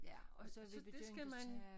Ja og så vi begyndt at tage